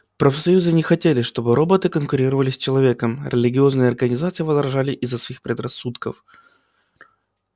профсоюзы не хотели чтобы роботы конкурировали с человеком религиозные организации возражали из-за своих предрассудков